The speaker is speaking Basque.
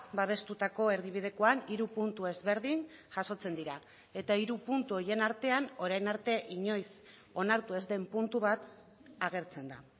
babestutako erdibidekoan hiru puntu ezberdin jasotzen dira eta hiru puntu horien artean orain arte inoiz onartu ez den puntu bat agertzen da